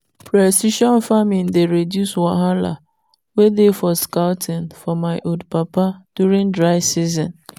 precision farming dey reduce wahala wey dey for scouting for my old papa during dry season.